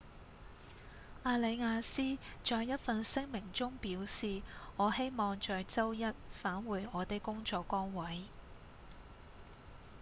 阿里亞斯在一份聲明中表示：「我希望在週一返回我的工作崗位」